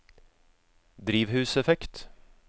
drivhuseffekt